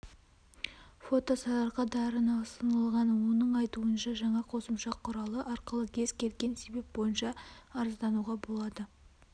фото сарыарка дарыны ұсынылған оның айтуынша жаңа қосымша құралы арқылы кез келген себеп бойынша арыздануға болады